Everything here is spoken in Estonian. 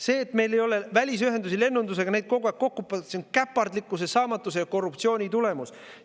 See, et meil ei ole lennunduses välisühendusi ja neid kogu aeg kokku, on käpardlikkuse, saamatuse ja korruptsiooni tulemus.